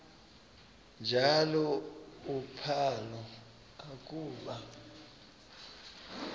njalo uphalo akuba